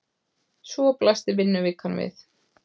Svo blasti vinnuvikan við.